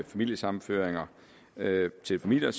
familiesammenføringer til familier